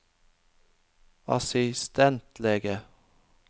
assistentlege